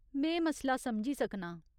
में मसला समझी सकनां।